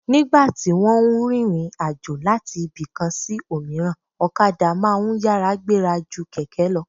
Nígbà tí wọ́n ń rìnrìn àjò láti ibì kan sí òmíràn, okadà máa ń yára gbéra ju kẹ̀kẹ́ lọ